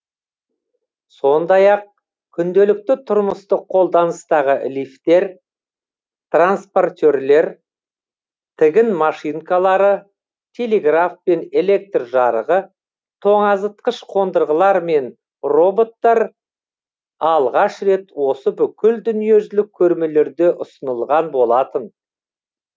сондай ақ күнделікті тұрмыстық қолданыстағы лифтер транспортерлер тігін машинкалары телеграф пен электр жарығы тоңазытқыш қондырғылар мен роботтар алғаш рет осы бүкіл дүниежүзілік көрмелерде ұсынылған болатын